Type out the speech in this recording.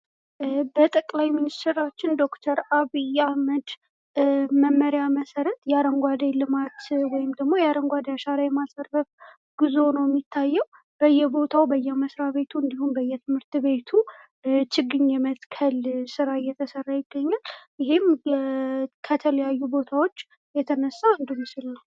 በጠቅላይ ሚንስትራችን ዶክተር አብይ አህመድ መመሪያ መሰረት የአረንጓዴ ልማት ወይም የ አረንጓዴ አሻራ የማሳረፍ ጉዞ ነው የሚታየው በየቦታው ፣ በየመስሪያ ቤቱ፣ እንዲሁም በየትምህርት ቤቱ ችግኝ የመትከል ስራ እየተሰራ ይገኛል ። እሄም ከተለያዩ ቦታዎች የተነሳ እንደሚስል ነው።